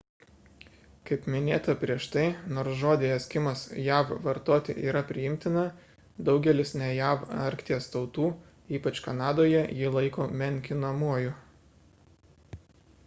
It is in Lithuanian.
kaip minėta prieš tai nors žodį eskimas jav vartoti yra priimtina daugelis ne jav arkties tautų ypač kanadoje jį laiko menkinamuoju